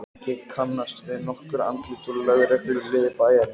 Ég kannaðist við nokkur andlit úr lögregluliði bæjarins.